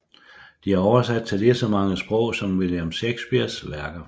De er oversat til lige så mange sprog som William Shakespeares værker